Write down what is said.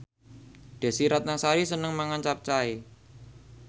Desy Ratnasari seneng mangan capcay